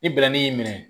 Ni bɛnnɛ y'i minɛ